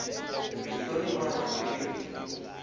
rito rin wana ni rin